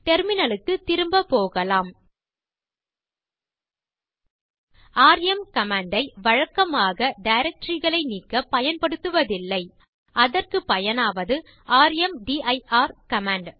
terminal க்குத் திரும்ப போகலாம் ராம் கமாண்ட் ஐ வழக்கமாக டைரக்டரி களை நீக்க பயன்படுத்துவதில்லை அதற்கு பயனாவது ர்ம்தீர் கமாண்ட்